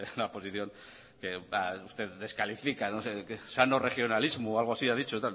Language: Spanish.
la posición que usted descalifica no sé sano regionalismo o algo así ha dicho